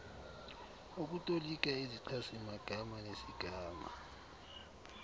ukutolika izichazimagama nesigama